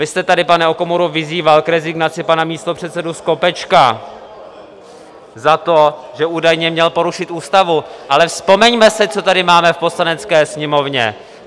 Vy jste tady, pane Okamuro, vyzýval k rezignaci pana místopředsedu Skopečka za to, že údajně měl porušit ústavu, ale vzpomeňme si, co tady máme v Poslanecké sněmovně!